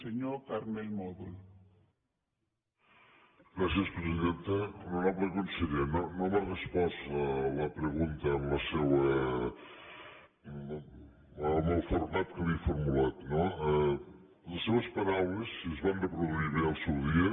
honorable conseller no no m’ha respost la pregunta en el format que li he formulat no les seves paraules si es van reproduir bé al seu dia